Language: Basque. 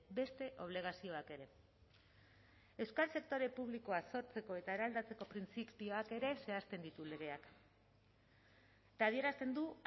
beste obligazioak ere euskal sektore publikoa sortzeko eta eraldatzeko printzipioak ere zehazten ditu legeak eta adierazten du